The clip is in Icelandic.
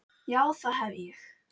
Já það hef ég.